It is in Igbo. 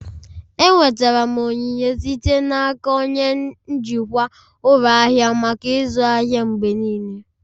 Enwetara m onyinye site n'aka onye njikwa ụlọ ahịa maka ịzụ ahịa mgbe niile